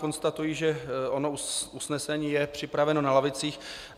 Konstatuji, že ono usnesení je připraveno na lavicích.